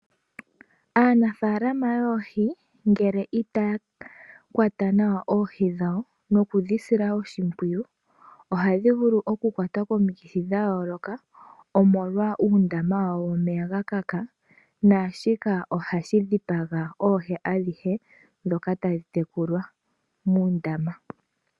Aanafaalama yoohi ngele itaya kwata nawa oohi dhawo noku dhi sila oshimpwiyu ohadhi vulu oku kwatwa komikithi. Omolwa uundama womeya ga kaka. Shika ohashi dhipagitha oohi adhihe muundama.